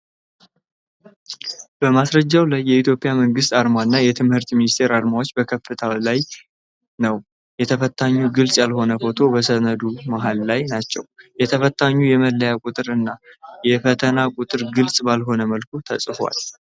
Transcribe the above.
በማስረጃው ላይ የኢትዮጵያ መንግስት አርማ እና የትምህርት ሚኒስቴር አርማዎች በከፍታው ላይ ነው። የተፈታኙ ግልጽ ያልሆነ ፎቶ በሰነዱ መሀል ላይ ናቸው ።የተፈታኙ የመለያ ቁጥር እና የፈተና ቁጥር ግልጽ ባልሆነ መልኩ ተጽፈዋል።